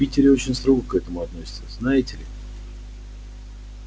в питере очень строго к этому относятся знаете ли